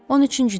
13-cüdə.